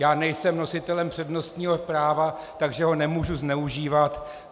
Já nejsem nositelem přednostního práva, takže ho nemohu zneužívat.